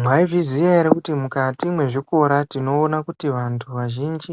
Mwaizviziya ere kuti mukati mwezvikora tinoona kuti vantu vazhinji